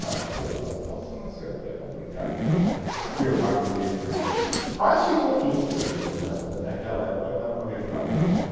Não, não acertou, então se não acertou é complicado se, se afirmar que teve tiro, mas ficou tudo por isso mesmo, também aquela época não era para gritar muito não.